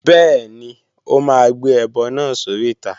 Bẹ́ẹ̀ni, ó máa gbé ẹbọ náà sóríta